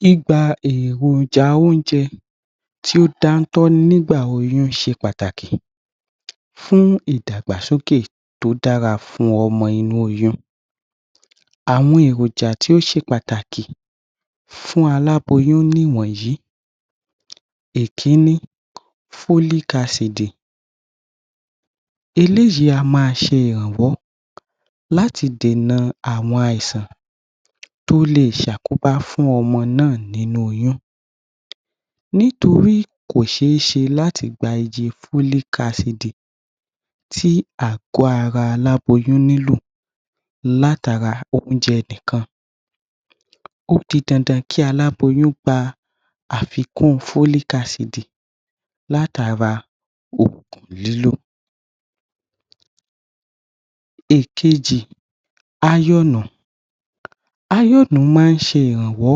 Gbígba èròjà oúnjẹ tí ó dáńtọ́ nígbà oyún ṣe pàtàk ì fún ìdàgbàsókè tó dára fún ọmọ inú oyún àwọn èròjà tó ṣe pàtàkì fún àláboyún ni ìwọ̀nyí, ìkíní Frolic asììdì eléyìí a Màá ṣe ìrànwọ́ láti dènà àwọn àìsàn tó lè ṣe àkóbá fún ọmọ náà nínú Oyún nítorí kò ṣeé ṣe láti gba iye Frolic asììdì sí ààgọ́ Ara aláboyún nílò láti ara oúnjẹ nìkan ó di dandan kí aláboyún gba àfikún Frolic asììdì láti Ara oògùn lílò ìkejì áyọ́ọ̀nù áyọ́ọ̀nù máa ń ṣe ìrànwọ́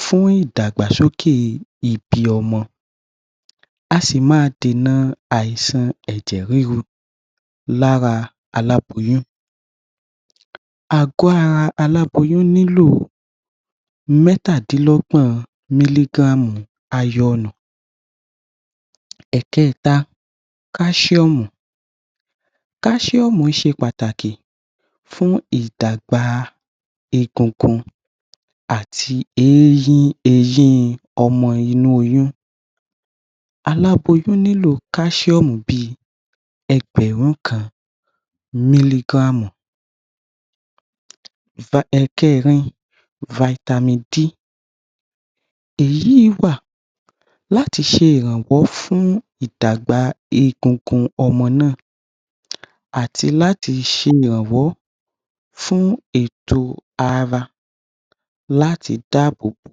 fún ìdàgbàsókè ibi ọmọ a sì máa dènà àìsàn ẹ̀jẹ̀ ríru Lára aláboyún ààgọ́ ara aláboyún nílò mẹ́tàdínlọ́gbọ̀n mílígráàmù áyọ́ọ̀nù ẹ̀kẹkẹ̀ta káṣíọ̀mù, káṣíọ̀mù ṣe pàtàkì fún ìdàgbà egungun àti ééyín ééyín ọmọ inú oyún, aláboyún nílò káṣíọ̀mù bíi ẹgbẹ̀rún kan mílígráàmù ẹ̀kẹẹ̀rin faitamin D èyí wà láti ṣe ìrànwọ́ fún ìdàgbà egungun ọmọ náà àti láti ṣe ìrànwọ́ fún ètò ara láti dáàbò bo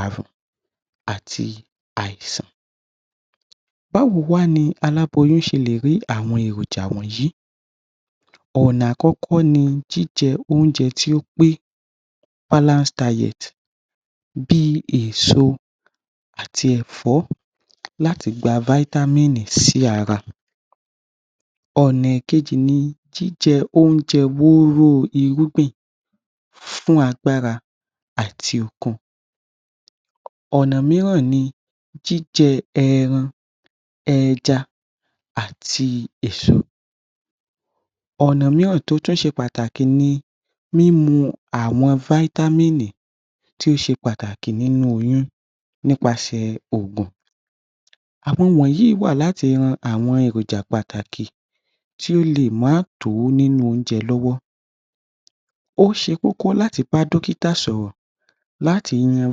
àrùn àti àìsàn bá wo wá ni aláboyún ṣe lè rí àwọn èròjà wọ̀nyí ọ̀nà àkọ́kọ́ ni jíjẹ únjẹ́ tí ó pè balance diet bíi èso àti Ẹ̀fọ́ láti gba faitamiìnì sí ara ọ̀nà kejì ni jíjẹ oúnjẹ wóró irúgbìn fún agbára àti okun ọ̀nà mìíràn ni jíjẹ ẹyin ẹja àti èso ọ̀nà mìíràn tí ó tún ṣe pàtàkì ni mímu àwọn faitamiìnì tí ó ṣe pàtàkì nínú oyún nípasẹ̀ òògùn àwọn wọ̀nyí wà láti lo àwọn èròjà pàtàkì tí ó lè má tó nínú oúnjẹ lọ́wọ́ ó ṣe kókó láti bá dókítà sọ̀rọ̀ láti yan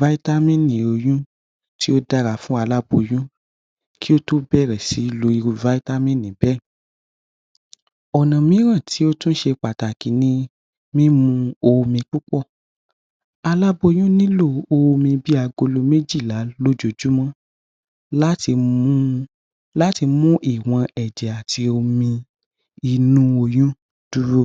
faitamiìnì oyún tí ó dára fún àláboyún kí ó tó bẹ̀rẹ̀ sí ní lo faitamiìnì bẹ́ẹ ọ̀na mìíràn tí ó tún ṣe pàtàkì ni mímú omi púpọ̀ àláboyún nílò omi bíi agolo méjìlá lójoojúmọ́ láti mú ìwọ̀n ẹ̀jẹ̀ àti omi inú oyún dúró.